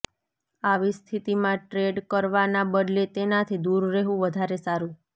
આવી સ્થિતિમાં ટ્રેડ કરવાના બદલે તેનાથી દૂર રહેવું વધારે સારું